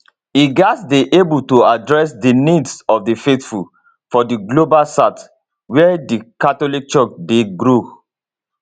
e gatz dey able to address di needs of di faithful for di global south wia di catholic church dey grow